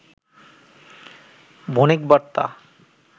Bonik Barta